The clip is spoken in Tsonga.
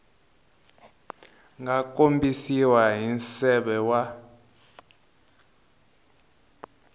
nga kombisiwa hi nseve wa